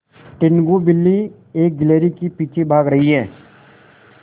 टीनगु बिल्ली एक गिल्हरि के पीछे भाग रही है